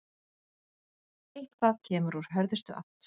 Eitthvað kemur úr hörðustu átt